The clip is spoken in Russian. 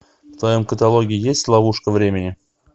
в твоем каталоге есть ловушка времени